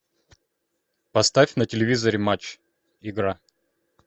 поставь на телевизоре матч игра